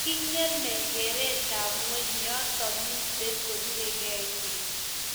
kengeme keretab ngweny yoto mito kobiregei biik